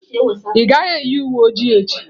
Ị gaghị eyi uwe oji echi.